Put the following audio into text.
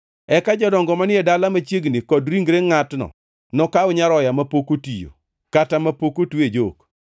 Eka jodongo manie dala machiegni kod ringre ngʼatno nokaw nyaroya mapok otiyo, kata mapok otwe e jok,